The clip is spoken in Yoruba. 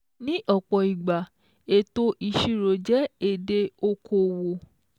Ní ọ́pọ́ ìgbà ètò ìṣíró jẹ́ èdè okòwò